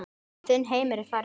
Þinn heimur er farinn maður.